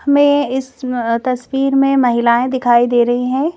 हमें इस तस्वीर में महिलाएं दिखाई दे रही हैं।